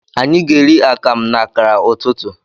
Anyi ga eri akamụ na akara ụtụtụ.